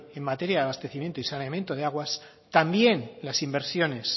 en materia abastecimiento y saneamiento de aguas también las inversiones